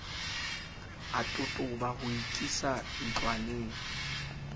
a totoba ho ikisa ntlwaneng